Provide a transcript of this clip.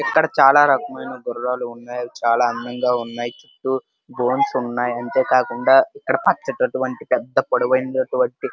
ఇక్కడ చాల రకాలైన గురాలు ఉన్నాయ్ చాల అందంగా ఉన్నాయి చుట్టూ బోన్స్ ఉన్నాయి అంతే కాకుండా ఇక్కడ అటువంటి పొడువైనాటువంటి --